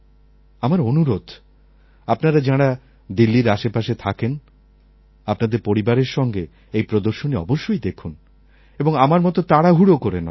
আমার অনুরোধ আপনারা যাঁরা দিল্লির আশেপাশে থাকেন আপনাদের পরিবারের সঙ্গে এই প্রদর্শনী অবশ্যই দেখুন এবং আমার মত তাড়াহুড়ো করে নয়